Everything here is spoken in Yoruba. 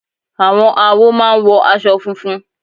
Àwọn awo máa ń wọ aṣọ funfun.